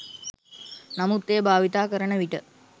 නමුත් එය භාවිතා කරන විට